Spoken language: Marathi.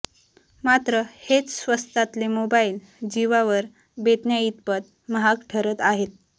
मात्र हेच स्वस्तातले मोबाइल जीवावर बेतण्याइतपत महाग ठरत आहेत